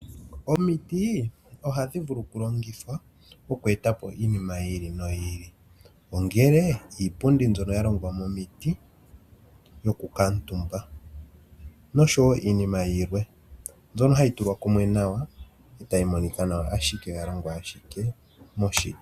Omiti ohadhi vulu okulongithwa oku eta po iinima yi ili noyi ili, ongele iipundi mbyoka ya longwa momiti yokukutumba noshowo iinima yilwe, mbyono hayi tulwa kumwe nawa e tayi monika nawa, ashike oya longwa ashike moshiti.